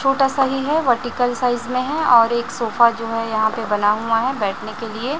छोटा सा ही है वर्टिकल साइज में है और एक सोफा जो है यहां पे बना हुआ है बैठने के लिए--